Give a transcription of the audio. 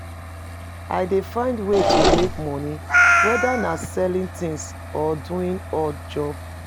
I dey find ways to make monie, whether na selling tings or doing odd jobs.